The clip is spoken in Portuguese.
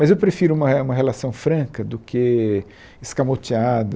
Mas eu prefiro uma uma relação franca do que escamoteada.